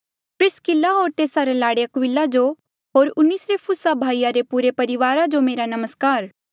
प्रिसकिल्ला होर तेस्सा रे लाड़े अक्विला जो होर उनेसिफुरुसा भाई रे पुरे परिवारा जो मेरा नमस्कार